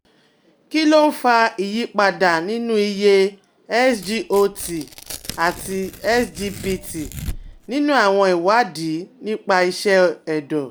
Kí ló ń fa ìyípadà nínú iye SGOT àti SGPT nínú àwọn ìwádìí nípa iṣẹ́ ẹ̀dọ̀?